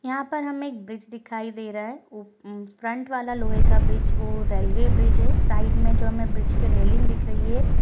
यहाँ पर हमें एक ब्रिज दिखाई दे रहा हैं ऊप उम्म फ्रंट वाला लोहे का ब्रिज वो रेलवे ब्रिज हैं साइड में जो हमें रेलिंग दिख रही हैं।